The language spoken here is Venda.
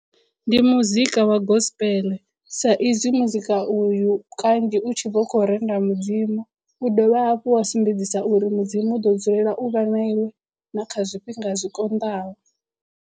Ndi muzika wa gospel sa izwi muzika uyu kanzhi u tshi vha u khou renda mudzimu u dovha hafhu wa sumbedzisa uri mudzimu u ḓo dzulela u vha na iwe na kha zwifhinga zwikonḓaho.